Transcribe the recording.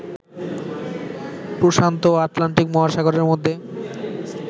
প্রশান্ত ও আটলান্টিক মহাসাগরের মধ্যে